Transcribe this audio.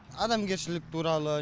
адамгершілік туралы